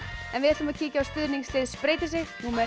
en við ætlum að kíkja á stuðningslið spreytir sig númer